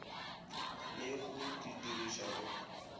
le go di didiriša go